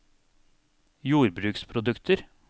jordbruksprodukter